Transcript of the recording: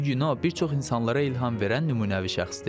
Bu gün o, bir çox insanlara ilham verən nümunəvi şəxsdir.